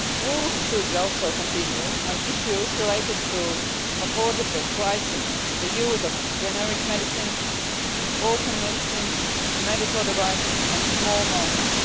Work should also continue on issues related to affordable pricing, the use of generic medicines, orphan medicines, medical devices and small markets.